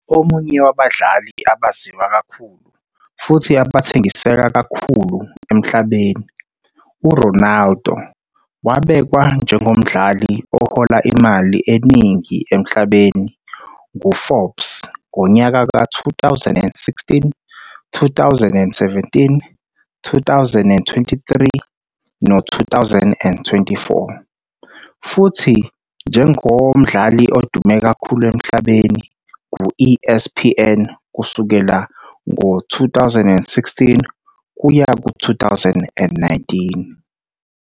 Omunye wabadlali abaziwa kakhulu futhi abathengiseka kakhulu emhlabeni, uRonaldo wabekwa njengomdlali ohola imali eningi emhlabeni ngu-Forbes ngonyaka ka-2016, 2017, 2023, no-2024 futhi njengo mdlali odume kakhulu emhlabeni nguESPN kusukela ngo-2016 kuya ku-2019.